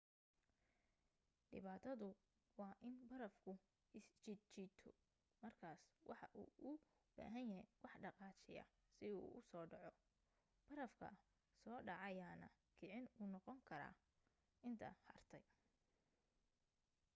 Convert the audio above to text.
dhibaatadu waa in barafku isjiid-jiito markaas waxa uu u baahanyahay wax dhaqaajiya si uu u soo dhaco barafka soo dhacayaana kicin u noqon kara inta hartay